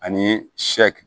Ani